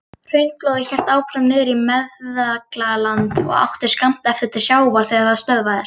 Hraunflóðið hélt áfram niður í Meðalland og átti skammt eftir til sjávar þegar það stöðvaðist.